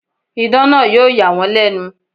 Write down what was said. Idán náà yóò yà wọ́n lẹ̀nu.